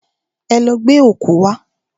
Ẹ lọ gbẹ́ ọ̀kú wá!